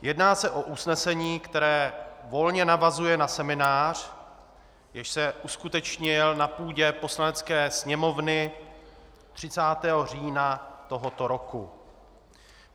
Jedná se o usnesení, které volně navazuje na seminář, jenž se uskutečnil na půdě Poslanecké sněmovny 30. října tohoto roku.